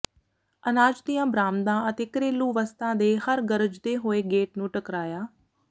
ਅਨਾਜ ਦੀਆਂ ਬਰਾਮਦਾਂ ਅਤੇ ਘਰੇਲੂ ਵਸਤਾਂ ਦੇ ਹਰ ਗਰਜਦੇ ਹੋਏ ਗੇਟ ਨੂੰ ਟਕਰਾਇਆ